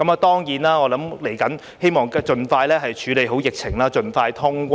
當然，我希望接下來盡快處理好疫情，盡快通關。